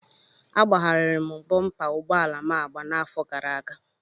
Agbagharịrị m bọmpa ụgbọala m agba n'afọ gara aga.